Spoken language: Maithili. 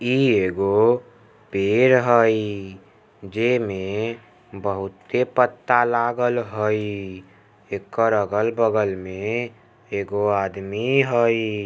ई एगो पेड़ हई जे मे बहुते पत्ता लागल हई। एकर अगल-बगल में एगो आदमी हई।